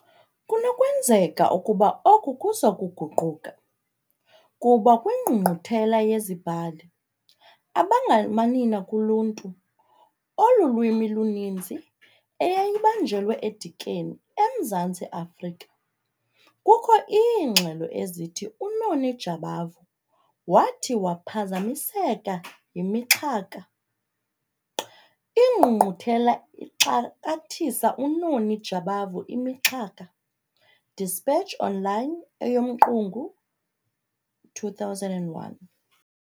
Kunokwenzeka ukuba oku kuyaguquka kuba kwingqungquthela yeziBhali abangaManina kuLuntu oluLwimi-ninzi., eyayibanjelwe eDikeni, eMzantsi Afrika, kukho iingxelo ezithi uNoni Jabavu wathi waphazamiseka yimixhaka, "Ingqungquthela ixakathisa uNoni Jabavu imixhaka", Dispatch Online , eyoMqungu, 2001.